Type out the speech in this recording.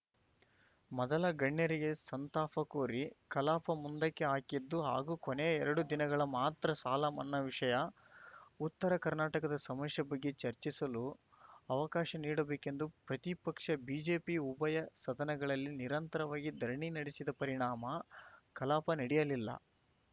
ಮೊದಲ ಗಣ್ಯರಿಗೆ ಸಂತಾಪ ಕೋರಿ ಕಲಾಪ ಮುಂದಕ್ಕೆ ಹಾಕಿದ್ದು ಹಾಗೂ ಕೊನೆಯ ಎರಡು ದಿನಗಳು ಮಾತ್ರ ಸಾಲ ಮನ್ನಾ ವಿಷಯ ಉತ್ತರ ಕರ್ನಾಟಕದ ಸಮಸ್ಯೆ ಬಗ್ಗೆ ಚರ್ಚಿಸಲು ಅವಕಾಶ ನೀಡಬೇಕೆಂದು ಪ್ರತಿಪಕ್ಷ ಬಿಜೆಪಿ ಉಭಯ ಸದನಗಳಲ್ಲಿ ನಿರಂತರವಾಗಿ ಧರಣಿ ನಡೆಸಿದ ಪರಿಣಾಮ ಕಲಾಪ ನಡೆಯಲಿಲ್ಲ